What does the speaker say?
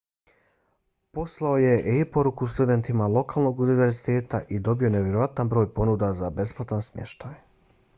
poslao je e-poruku studentima lokalnog univerziteta i dobio nevjerojatan broj ponuda za besplatan smještaj